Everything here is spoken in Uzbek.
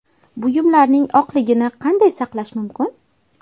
Buyumlarning oqligini qanday saqlash mumkin?